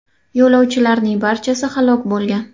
Yo‘lovchilarning barchasi halok bo‘lgan.